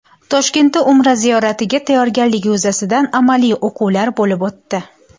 Toshkentda Umra ziyoratiga tayyorgarlik yuzasidan amaliy o‘quvlar bo‘lib o‘tdi.